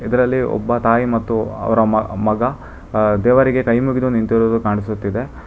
ಇದರಲ್ಲಿ ಒಬ್ಬ ತಾಯಿ ಮತ್ತು ಅವರ ಮ ಮಗ ದೇವರಿಗೆ ಕೈಮುಗಿದು ನಿಂತಿರುವುದು ಕಾಣಿಸುತ್ತಿದೆ.